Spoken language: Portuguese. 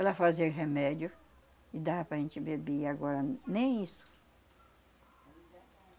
Ela fazia remédio e dava para a gente beber, agora nem isso.